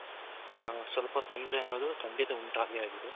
ಹ ಸ್ವಲ್ಪ ತೊಂದ್ರೆ ಅನ್ನೋದು ಖಂಡಿತ ಉಂಟಾಗೆ ಆಗಿದೆ